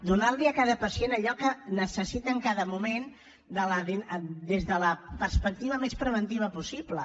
donar li a cada pacient allò que necessita en cada moment des de la perspectiva més preventiva possible